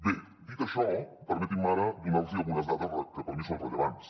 bé dit això permetin·me ara donar·los algunes dades que per mi són rellevants